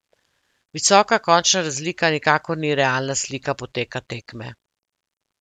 Visoka končna razlika nikakor ni realna slika poteka tekme.